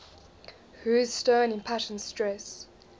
whose stern impassioned stress